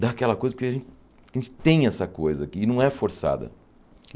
dá aquela coisa, porque a gen a gente tem essa coisa e não é forçada.